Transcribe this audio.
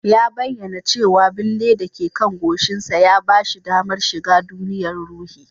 Ya bayyana cewa bille da ke kan goshinsa ya ba shi damar shiga duniyar ruhi